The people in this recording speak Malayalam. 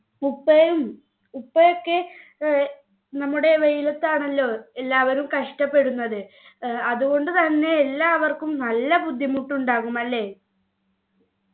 ഉപ്പയും ഉപ്പയൊക്കെ ഏർ നമ്മുടെ വെയിലത്താണല്ലോ എല്ലാവരും കഷ്ടപ്പെടുന്നത് ഏർ അതുകൊണ്ട് തന്നെ എല്ലാവര്ക്കും നല്ല ബുദ്ധിമുട്ടുണ്ടാകും അല്ലെ